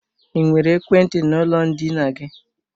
Ị nwere ekwentị n'ụlọ ndina gị?